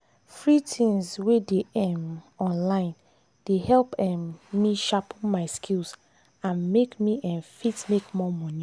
free things wey dey um online dey help um me sharpen my skills and make me um fit make more money.